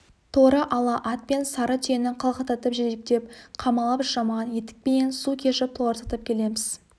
торы ала ат пен сары түйені қалқақтатып жетектеп қамалап жаман етікпенен су кешіп толарсақтап келеміз